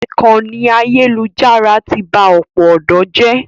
Ìkànnì ayélujára ti ba ọ̀pọ̀ ọ̀dọ́ jẹ́.